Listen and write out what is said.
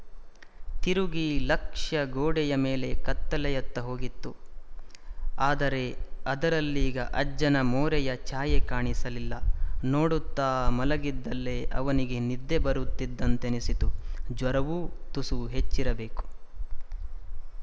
ತಿರುಗಿ ಲಕ್ಷ್ಯ ಗೋಡೆಯ ಮೇಲೆ ಕಲೆಯತ್ತ ಹೋಗಿತ್ತು ಆದರೆ ಅದರಲ್ಲೀಗ ಅಜ್ಜನ ಮೋರೆಯ ಛಾಯೆ ಕಾಣಲಿಲ್ಲ ನೋಡುತ್ತ ಮಲಗಿದಲ್ಲೇ ಅವನಿಗೆ ನಿದ್ದೆ ಬರುತ್ತಿದ್ದಂತೆನಿಸಿತು ಜ್ವರವೂ ತುಸು ಹೆಚ್ಚಿರಬೇಕು